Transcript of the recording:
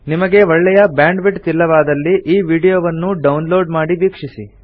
ನಿಮಗೆ ಒಳ್ಳೆಯ bandwidth ಇಲ್ಲವಾದಲ್ಲಿ ಈ ವೀಡಿಯೋನ್ನು ಡೌನ್ ಲೋಡ್ ಮಾಡಿ ವೀಕ್ಷಿಸಿ